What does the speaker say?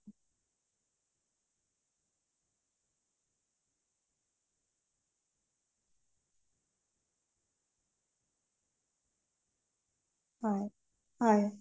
হয়